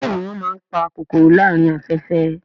Bẹ́ẹ̀ni wọ́n máa ń pa kòkòrò láàárín afẹ́fẹ́